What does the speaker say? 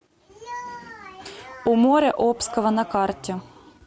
у моря обского на карте